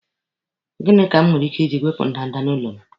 Gịnị ka m nwere ike iji wepụ ndanda n'ụlọ m?